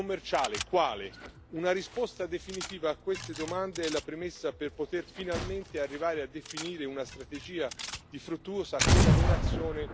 Una risposta definitiva a queste domande è la premessa per poter finalmente arrivare a definire una strategia di fruttuosa collaborazione per le future relazioni.